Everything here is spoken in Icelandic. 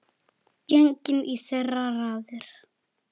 Genginn í þeirra raðir.